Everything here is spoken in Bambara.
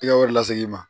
Tɛgɛ wɛrɛ lase i ma